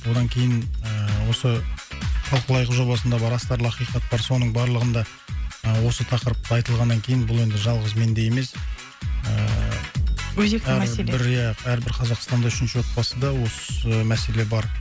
одан кейін ыыы осы талқылайық жобасында бар астарлы ақиқат бар соның барлығында ы осы тақырыпта айтылғаннан кейін бұл енді жалғыз менде емес ыыы өзекті мәселе иә әрбір қазақстанда үшінші отбасында осы мәселе бар